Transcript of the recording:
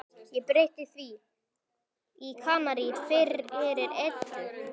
Ég breytti því í Kanarí fyrir Eddu.